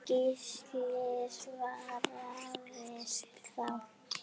Gísli svaraði þá